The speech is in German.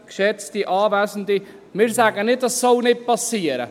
Geschätzte Anwesende, wir sagen nicht, dies solle nicht geschehen.